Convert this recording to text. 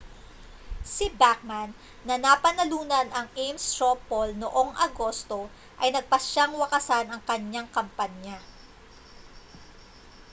si bachmann na napanalunan ang ames straw poll noong agosto ay nagpasyang wakasan ang kanyang kampanya